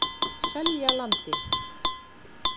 Seljalandi